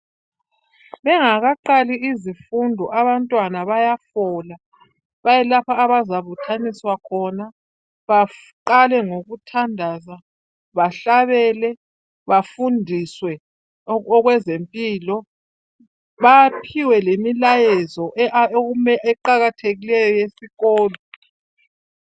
Bengakaqali izifundo abantwana bayafola, baye lapho abazabuthaniswa khona baqale ngokuthandaza, bahlabele, bafundiswe okwezempilo, baphiwe lemilayezo eqakathekileyo yesikolo.